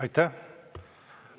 Aitäh!